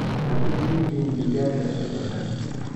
Ha ku shiidin digaagga subagga.